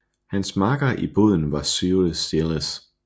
Hans makker i båden var Cyril Stiles